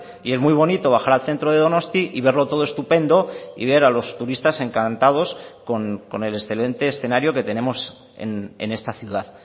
y es muy bonito bajar al centro de donostia y verlo todo estupendo y ver a los turistas encantados con el excelente escenario que tenemos en esta ciudad